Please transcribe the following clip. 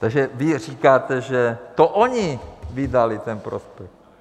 Takže vy říkáte, že to oni vydali ten prospekt.